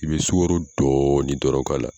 I bɛ sukaro dɔɔnin dɔrɔn k'a la